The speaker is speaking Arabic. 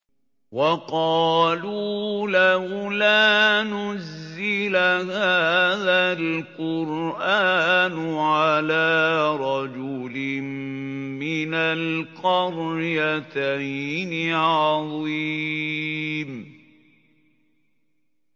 وَقَالُوا لَوْلَا نُزِّلَ هَٰذَا الْقُرْآنُ عَلَىٰ رَجُلٍ مِّنَ الْقَرْيَتَيْنِ عَظِيمٍ